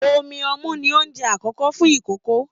Omí ọmu ní oúnjẹ àkọ́kọ́ fún ikòkò.